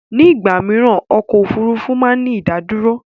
Ní ìgbà mìíràn ọkọ̀ Òfurufú máa ń ní ìdádúró.